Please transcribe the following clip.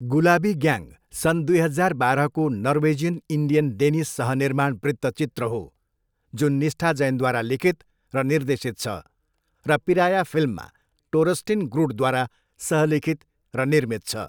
गुलाबी gang सन् दुई हजार बाह्रको नर्वेजियन इन्डियन डेनिस सहनिर्माण वृत्तचित्र हो जुन निष्ठा जैनद्वारा लिखित र निर्देशित छ र पिराया फिल्ममा टोरस्टिन ग्रुडद्वारा सहलिखित र निर्मित छ।